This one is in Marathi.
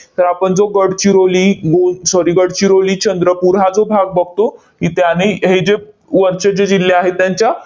तर आपण जो गडचिरोली, गो sorry गडचिरोली, चंद्रपूर हा जो भाग बघतो, इथे आणि हे जे वरचे जे जिल्हे आहेत त्यांच्या